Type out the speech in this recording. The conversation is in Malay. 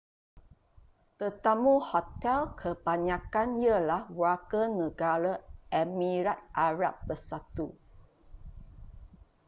tetamu hotel kebanyakan ialah warganegara emirat arab bersatu